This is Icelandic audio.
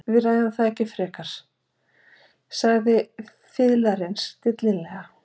Við ræðum það ekki frekar, sagði fiðlarinn stillilega.